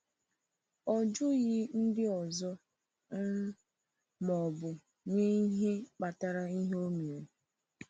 Ọ jụghị ndị ọzọ um ma ọ bụ nye ihe kpatara ihe o mere.